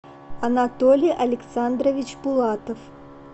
анатолий александрович булатов